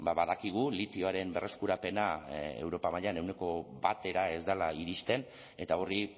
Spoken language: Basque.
badakigu litioaren berreskurapena europa mailan ehuneko batera ez dela iristen eta horri